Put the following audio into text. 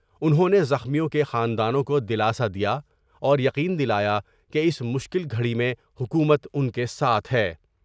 انہوں نے زخمیوں کے خاندانوں کو دلاسا دیا اور یقین دلایا کہ اس مشکل گھڑی میں حکومت ان کے ساتھ ہے ۔